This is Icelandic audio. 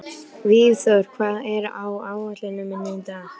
Vígþór, hvað er á áætluninni minni í dag?